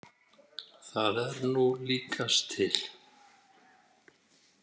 Það er nú líkast til.